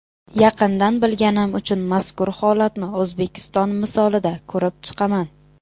Yaqindan bilganim uchun mazkur holatni O‘zbekiston misolida ko‘rib chiqaman.